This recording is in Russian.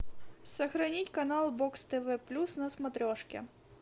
сохранить канал бокс тв плюс на смотрешке